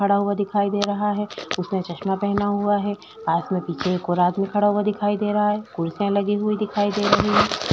खड़ा हुआ दिखाई दे रहा है उसने चश्मा पहना हुआ है पास में कोई एक और आदमी खड़ा दिखाई दे रहा है कुर्सीया लगी हुई दिखाई दे रही है।